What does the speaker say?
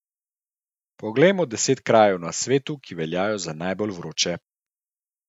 Poglejmo deset krajev na svetu, ki veljajo za najbolj vroče.